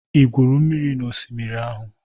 Ị gwuru mmiri n'osimiri ahụ?